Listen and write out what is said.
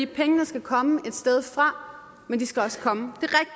pengene skal komme et sted fra men de skal også komme